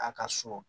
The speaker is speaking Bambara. A ka so